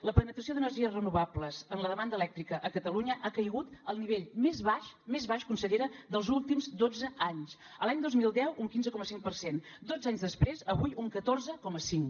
la penetració d’energies renovables en la demanda elèctrica a catalunya ha caigut al nivell més baix més baix consellera dels últims dotze anys l’any dos mil deu un quinze coma cinc per cent dotze anys després avui un catorze coma cinc